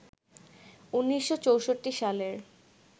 ১৯৬৪ সালের